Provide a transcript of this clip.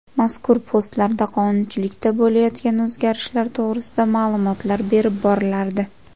Mazkur postlarda qonunchilikda bo‘layotgan o‘zgarishlar to‘g‘risida ma’lumotlar berib borilardi.